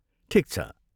ठिक छ।